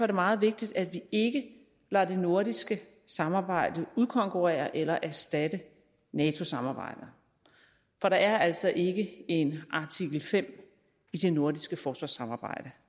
det meget vigtigt at vi ikke lader det nordiske samarbejde udkonkurrere eller erstatte nato samarbejdet for der er altså ikke en artikel fem i det nordiske forsvarssamarbejde